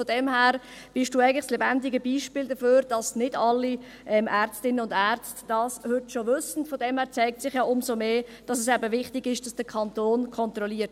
Daher sind Sie eigentlich das lebendige Beispiel dafür, dass nicht alle Ärztinnen und Ärzte dies heute schon wissen, und es zeigt sich umso mehr, dass es eben wichtig ist, dass der Kanton kontrolliert.